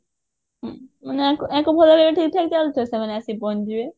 ହଁ ମାନେ ୟାଙ୍କ ୟାଙ୍କର ଭଲ ମାନେ ଠିକଠାକ ଚାଲିଥିବ ସେମାନେ ଆସିକି ପହଞ୍ଚିଯିବେ